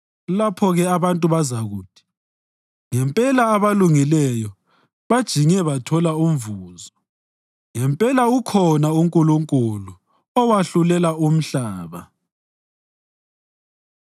Lapho-ke abantu bazakuthi, “Ngempela abalungileyo bajinge bathole umvuzo; ngempela ukhona uNkulunkulu owahlulela umhlaba.”